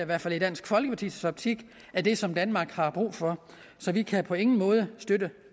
hvert fald i dansk folkepartis optik er det som danmark har brug for så vi kan på ingen måde støtte